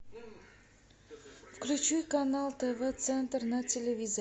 включи канал тв центр на телевизоре